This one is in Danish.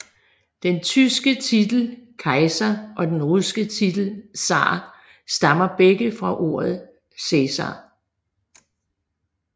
Den tyske titel Kaiser og den russiske titel zar stammer begge fra ordet Cæsar